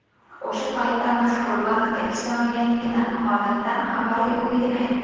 O‘sha paytda mazkur bankda ishlamaganligini, holatdan xabari yo‘qligini aytdi.